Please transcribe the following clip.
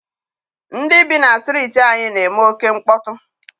Ndị bi na Striiti anyị na-eme oké mkpọtụ.